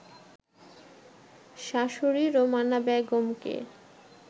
শাশুড়ি রোমানা বেগমকে